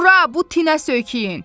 Bura, bu tinə söykəyin.